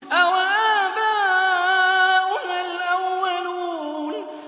أَوَآبَاؤُنَا الْأَوَّلُونَ